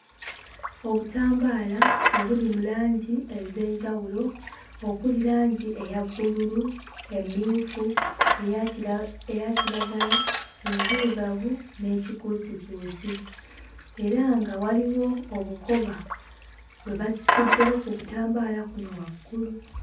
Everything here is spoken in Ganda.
Obutambaala obuli mu langi ez'enjawulo okuli langi eya bbululu, emmyufu, eya kira eya kiragala, enzirugavu n'ey'ekikuusikuusi era nga waliwo obukoba bwe basuddeko ku butambaala kuno waggulu.